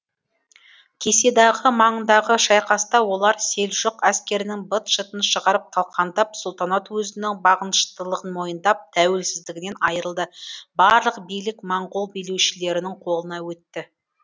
кеседағы маңындағы шайқаста олар селжұқ әскерінің быт шытын шығарып талқандап сұлтанат өзінің бағыныштылығын мойындап тәуелсіздігінен айырылды барлық билік моңғол билеушілерінің қолына өтті